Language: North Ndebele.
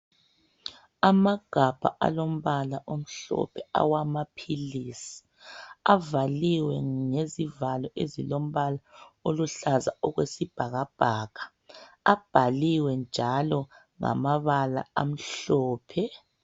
Amagabha alombala omhlophe awamaphilisi avaliwe ngezivalo ezilombala oluhlaza okwesibhakabhaka abhaliwe njalo ngamabala amhlophe.